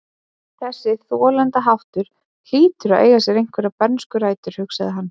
Þessi þolandaháttur hlýtur að eiga sér einhverjar bernskar rætur, hugsaði hann.